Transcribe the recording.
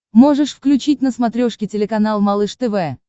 можешь включить на смотрешке телеканал малыш тв